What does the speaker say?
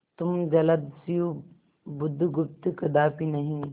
तुम जलदस्यु बुधगुप्त कदापि नहीं